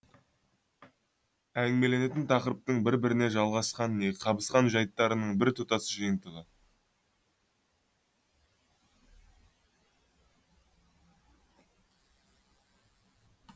әңгімеленетін тақырыптың бір біріне жалғасқан не қабысқан жайттарының біртұтас жиынтығы